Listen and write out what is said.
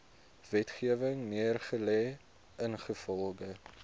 wetgewing neergelê ingevolge